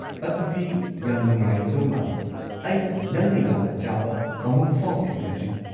ꯑꯗꯨꯗꯤ ꯌꯥꯝ ꯅꯨꯡꯉꯥꯏꯔꯝꯗꯧ ꯃꯥꯜꯂꯦ, ꯑꯩ ꯅꯪꯅ ꯌꯥꯝꯅ ꯆꯥꯕ ꯑꯃꯨꯛꯐꯥꯎ ꯊꯦꯡꯅꯗ꯭ꯔꯤ꯫